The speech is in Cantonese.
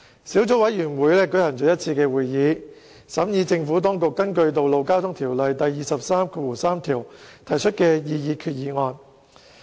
小組委員會舉行了一次會議，審議政府當局根據《道路交通條例》第233條提出的擬議決議案。